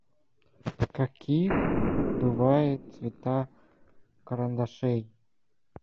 какие бывают цвета карандашей